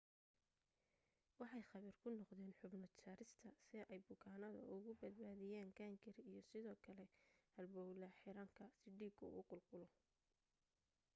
waxay khabiir ku noqdeen xubno jarista si ay bukaanada uga badbaadiyaan gaangari iyo sidoo kale halbawla xiranka si dhiigu u qulqulo